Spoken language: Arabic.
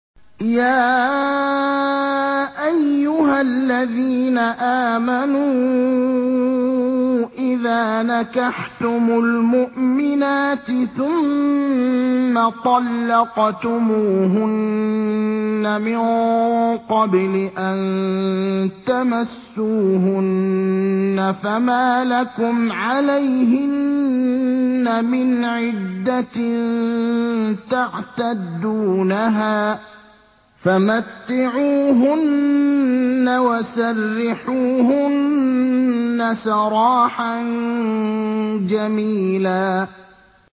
يَا أَيُّهَا الَّذِينَ آمَنُوا إِذَا نَكَحْتُمُ الْمُؤْمِنَاتِ ثُمَّ طَلَّقْتُمُوهُنَّ مِن قَبْلِ أَن تَمَسُّوهُنَّ فَمَا لَكُمْ عَلَيْهِنَّ مِنْ عِدَّةٍ تَعْتَدُّونَهَا ۖ فَمَتِّعُوهُنَّ وَسَرِّحُوهُنَّ سَرَاحًا جَمِيلًا